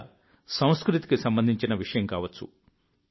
లేదా సంస్కృతికి సంబంధించిన విషయం కావచ్చు